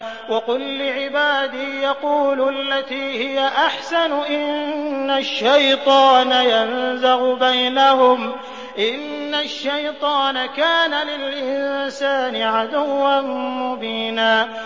وَقُل لِّعِبَادِي يَقُولُوا الَّتِي هِيَ أَحْسَنُ ۚ إِنَّ الشَّيْطَانَ يَنزَغُ بَيْنَهُمْ ۚ إِنَّ الشَّيْطَانَ كَانَ لِلْإِنسَانِ عَدُوًّا مُّبِينًا